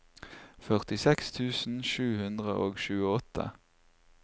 førtiseks tusen sju hundre og tjueåtte